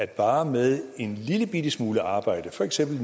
bare med en lillebitte smule arbejde for eksempel